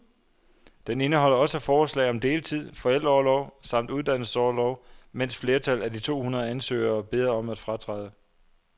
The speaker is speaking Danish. Den indeholder også forslag om deltid, forældreorlov samt uddannelsesorlov, men flertallet af de to hundrede ansøgere beder om at fratræde.